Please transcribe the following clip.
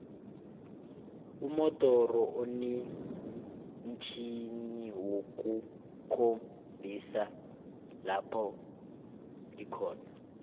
umodoro inomtjhjniwokukhombisa lopho ikhona